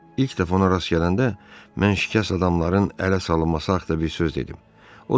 İlk dəfə ona rast gələndə mən şikəst adamların ələ salınması haqqında bir söz dedim.